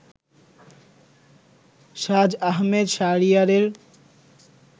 সাজ আহমেদ শাহরিয়ারের